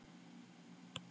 Skjöldur, læstu útidyrunum.